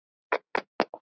Sá hefur æft sig!